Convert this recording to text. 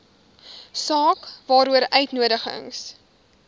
saak waaroor uitnodigings